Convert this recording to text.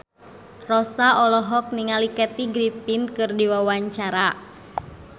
Rossa olohok ningali Kathy Griffin keur diwawancara